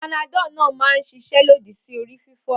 Panadol náà máa ń ṣiṣẹ́ lòdì sí orí fífọ́.